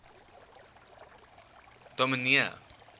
dominee